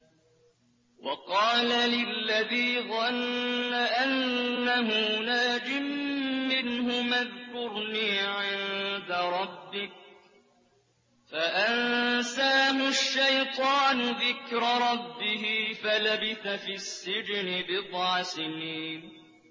وَقَالَ لِلَّذِي ظَنَّ أَنَّهُ نَاجٍ مِّنْهُمَا اذْكُرْنِي عِندَ رَبِّكَ فَأَنسَاهُ الشَّيْطَانُ ذِكْرَ رَبِّهِ فَلَبِثَ فِي السِّجْنِ بِضْعَ سِنِينَ